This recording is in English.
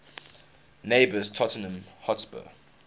neighbours tottenham hotspur